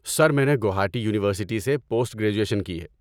سر، میں نے گوہاٹی یونیورسٹی سے پوسٹ گریجویشن کی۔